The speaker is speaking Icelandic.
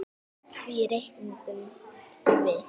Því reiknum við